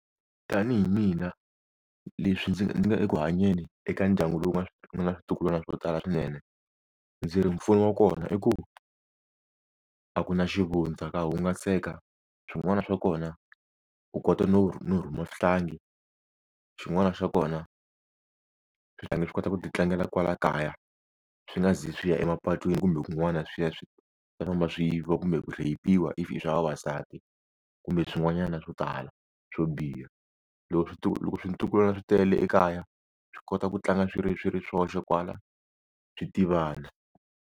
Tanihi mina leswi ndzi ndzi nga eku hanyeni eka ndyangu lowu nga na switukulwana swo tala swinene. Ndzi ri mpfuno wa kona i ku, a ku na xivundza ka hungaseka. Swin'wana swa kona, u kota no no rhuma swihlangi, swin'wana swa kona swihlangi swi kota ku ti tlangela kwala kaya. Swi nga zi swi ya emapatwini kumbe kun'wana swi ya swi nga ta famba swi yiviwa kumbe ku rhayipiwa if i swa vavasati kumbe swin'wanyana swo tala swo biha. Loko loko swintukulwana swi tele ekaya, swi kota ku tlanga swi ri swi ri swoxe kwala swi tivana.